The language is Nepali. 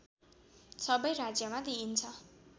सबै राज्यमा दिइन्छ